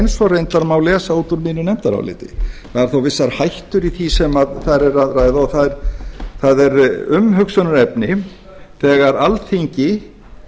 eins og reyndar má lesa út úr mínu nefndaráliti það eru þó vissar hættur í því sem þar er að ræða og það er umhugsunarefni þegar alþingi